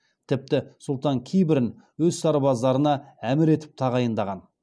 тіпті сұлтан кейбірін өз сарбаздарына әмір етіп тағайындаған